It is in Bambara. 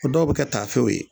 O dɔw be kɛ taafew ye